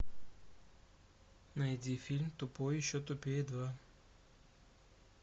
найди фильм тупой и еще тупее два